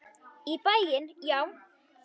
Í bæinn, já!